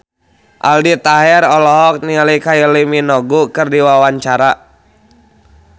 Aldi Taher olohok ningali Kylie Minogue keur diwawancara